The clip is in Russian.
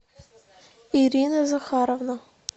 ирина захаровна